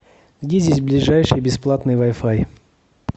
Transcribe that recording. где здесь ближайший бесплатный вай фай